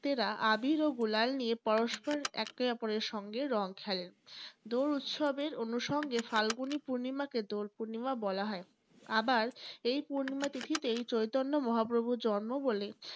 ভক্তেরা আবীর ও গুলাল নিয়ে পরস্পর একে অপরের সঙ্গে রং খেলে। দোল উৎসবের অনুসঙ্গে ফাল্গুনী পূর্ণিমাকে দোল পূর্ণিমা বলা হয়। আবার সেই পূর্ণিমা তিথীতেই চৈতন্য মহাপ্রভুর জন্ম বলে